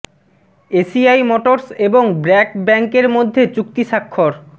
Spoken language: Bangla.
এসিআই মটরস এবং ব্র্যাক ব্যাংক এর মধ্যে চুক্তি স্বাক্ষর